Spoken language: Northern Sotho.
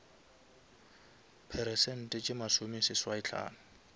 peresente tše masome seswai hlano